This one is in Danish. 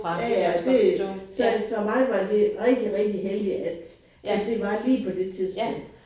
Ja ja det så for mig var det rigtig rigtig heldigt at at det var lige på det tidspunkt